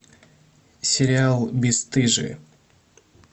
сериал бесстыжие